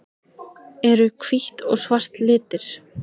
Eru hvítt og svart litir?